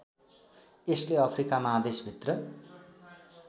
यसले अफ्रिका महादेशभित्र